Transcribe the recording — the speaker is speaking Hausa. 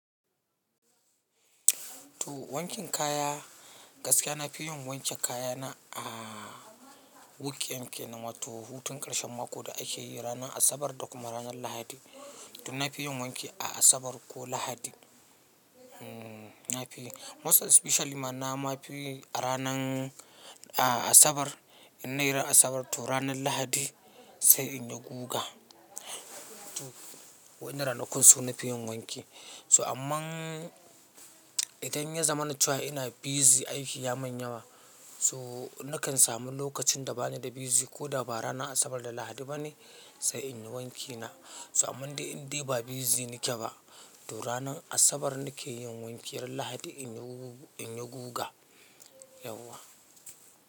To wankin kaya, gaskiya na fi yin wankin kaya na, ah wukiyan kenan wato hutun ƙarshen mako da ake yi ranar Asabar da kuma ranar Lahadi. To na fi yin wanki a Asabar ko Lahadi. Na fi, most especially ma, na ma fi a ranan, a Asabar. In nayi ran Asabar, to ranar Lahadi sai inyi guga. To wannan ranakun su na fi yin wanki. So ammann, idan ya zamana cewa ina busy, aiki ya min yawa, so nakan samu lokacin da ba ni da busy, ko da ba ranar Asabar da Lahadi ba ne, sai in yi wanki na. So amman dai in dai ba busy nake ba, to ranar Asabar nake yin wanki, ran Lahadi in yi guga, Yauwa.